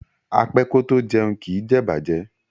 A pé kò to jẹun, ki jé ìbàjẹ́.